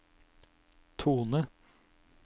tone